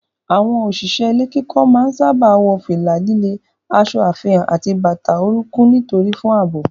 Àwọn òṣìṣẹ́ ilé kíkọ́ máa ń sáábà wọ fìlà líle, aṣọ àfihàn àti bàtà orúnkún onírin fún ààbò.